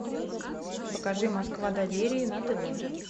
покажи москва доверия на тв